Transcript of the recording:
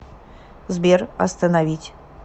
сбер остановить